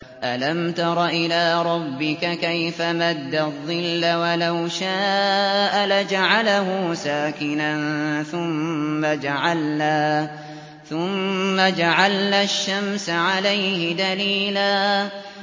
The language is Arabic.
أَلَمْ تَرَ إِلَىٰ رَبِّكَ كَيْفَ مَدَّ الظِّلَّ وَلَوْ شَاءَ لَجَعَلَهُ سَاكِنًا ثُمَّ جَعَلْنَا الشَّمْسَ عَلَيْهِ دَلِيلًا